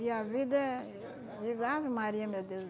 E a vida é digo Ave Maria, meu Deus.